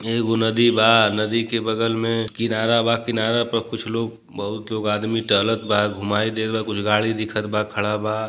एगो नदी बा। नदी के बगल में किनारा बा किनारा पर कुछ लोग बहुत लोग आदमी टहलत बा। घुमाई देत बा। कुछ गाड़ी दिखत बा खड़ा बा।